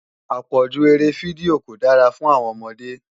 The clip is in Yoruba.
Àpọ̀jù eré fídíò kò dára fún àwọn ọmọdé